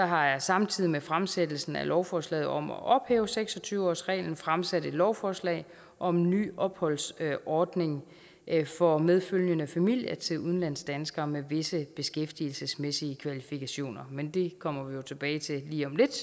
har jeg samtidig med fremsættelsen af lovforslaget om at ophæve seks og tyve årsreglen fremsat et lovforslag om ny opholdsordning for medfølgende familie til udlandsdanskere med visse beskæftigelsesmæssige kvalifikationer men det kommer vi jo tilbage til lige om lidt